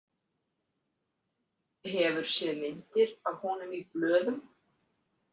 Hefur séð myndir af honum í blöðum?